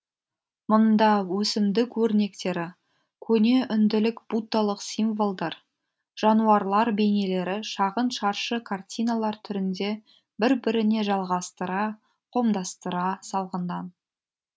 мұнда өсімдік өрнектері көне үнділік буддалық символдар жануарлар бейнелері шағын шаршы картиналар түрінде бір біріне жалғастыра қомдастыра салынған